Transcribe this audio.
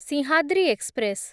Simhadri express